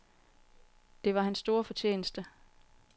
Det var hans store fortjeneste.